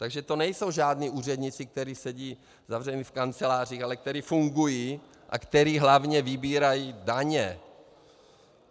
Takže to nejsou žádní úředníci, kteří sedí zavření v kancelářích, ale kteří fungují a kteří hlavně vybírají daně.